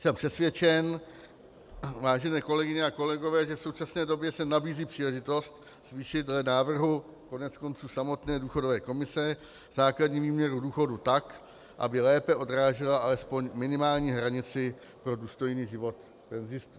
Jsem přesvědčen, vážené kolegyně a kolegové, že v současné době se nabízí příležitost zvýšit dle návrhu koneckonců samotné důchodové komise základní výměru důchodu tak, aby lépe odrážela alespoň minimální hranici pro důstojný život penzistů.